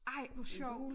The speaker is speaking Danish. Ej hvor sjovt